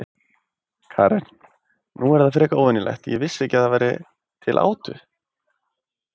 Karen: Nú, er það ekki frekar óvenjulegt, ég vissi ekki að það væri til átu?